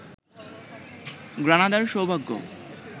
গ্রানাদার সৌভাগ্য